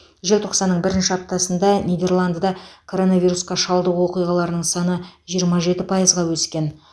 желтоқсанның бірінші аптасында нидерландыда коронавирусқа шалдығу оқиғаларының саны жиырма жеті пайызға өскен